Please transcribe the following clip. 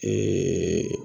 Eeeee